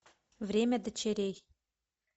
время дочерей